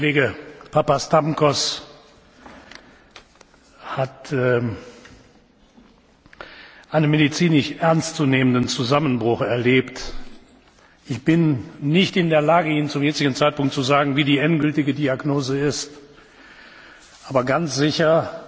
Unser Kollege Papastamkos hat einen medizinisch ernstzunehmenden Zusammenbruch erlebt. Ich bin nicht in der Lage, Ihnen zum jetzigen Zeitpunkt zu sagen, wie die endgültige Diagnose ist, aber ganz sicher